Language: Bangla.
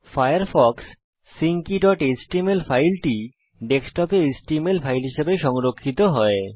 ফায়ারফক্স সিঙ্ক keyএচটিএমএল ফাইলটি ডেস্কটপে এচটিএমএল ফাইল হিসেবে সংরক্ষিত হয়